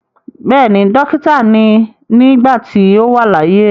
Bẹ́ẹ̀ni, dókítà ni nígbà tí ó wà láyé.